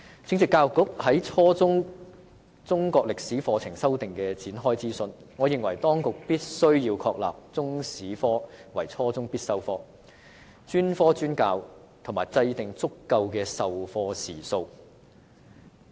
正值教育局就初中中國歷史科課程修訂展開諮詢，我認為當局必須確立中史科為初中必修科、專科專教，以及制訂足夠的授課時數。